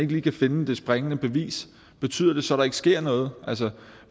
lige kan finde det springende bevis betyder det så at der ikke sker noget